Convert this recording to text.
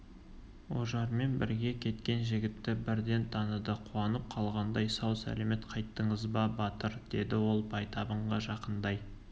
ожармен бірге кеткен жігітті бірден таныды қуанып қалғандай сау-сәлемет қайттыңыз ба батыр деді ол байтабынға жақындай